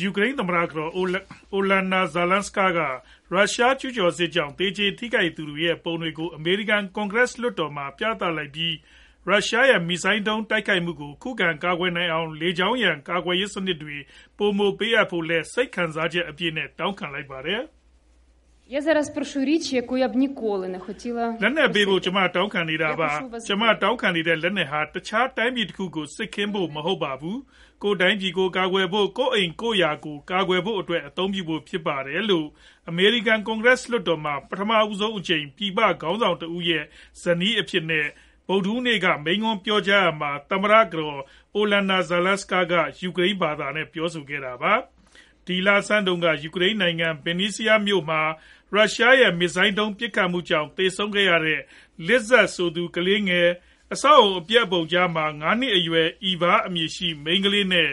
ယူကရိန်း သမ္မတကတော် Olena Zelenska က ရုရှားကျူးကျော်စစ်ကြောင့် သေကျေထိခိုက်သူတွေရဲ့ ပုံတွေကို အမေရိကန် ကွန်ဂရက် လွှတ်တော်မှာ ပြသလိုက်ပြီး၊ ရုရှားရဲ့ မစ်ဇိုင်းဒုံး တိုက်ခိုက်မှုကို ခုခံကာကွယ်နိုင်အောင် လေကြောင်းရန် ကာကွယ်ရေးစနစ်တွေ ပိုမိုပေးအပ်ဖို့လည်း စိတ်ခံစားချက်အပြည့်နဲ့ တောင်းခံခဲ့ပါတယ်။ “လက်နက်ပေးဖို့ ကျမတောင်းခံနေတာပါ၊ ကျမတောင်းခံတဲ့ လက်နက်ဟာ တခြားတိုင်းပြည်တခုကို စစ်ခင်းဖို့ မဟုတ်ပါဘူး၊ ကိုယ့်တိုင်းပြည်ကို ကာကွယ်ဖို့၊ ကိုယ့်အိမ်ကိုယ့်ယာကို ကာကွယ်ခွင့်အတွက် အသုံးပြုဖို့ ဖြစ်ပါတယ်။” လို့ အမေရိကန် လွှတ်တော်မှာ ပထမဆုံးအကြိမ် ပြည်ပခေါင်းဆောင်တဦးရဲ့ ဇနီးအဖြစ် ဗုဒ္ဓဟူးနေ့က မိန့်ခွန်းပြောကြားရာမှာ သမ္မတကတော် Zelenska ယူကရိန်းဘာသာနဲ့ ပြောဆိုခဲ့တာပါ။ ဒီလဆန်းတုန်းက ယူကရိန်းနိုင်ငံ Vinnytsia မြို့မှာ ရုရှားရဲ့ မစ်ဇိုင်းဒုံးပစ်ခတ်မှုကြောင့် သေဆုံးခဲ့ရတဲ့ Liza ဆိုသူ ကလေးငယ်၊ အဆောက်အဦး အပျက်အစီးပုံကြားက ၅နှစ်အရွယ် Eva အမည်ရှိတဲ့ မိန်းကလေးငယ်နဲ့